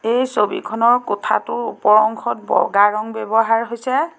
এই ছবিখনৰ কোঠাটোৰ ওপৰ অংশত বগা ৰঙ ব্যবহাৰ হৈছে।